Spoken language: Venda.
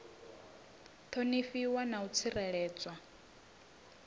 u ṱhonifhiwa na u tsireledzwa